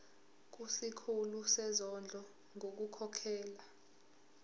kusikhulu sezondlo ngokukhokhela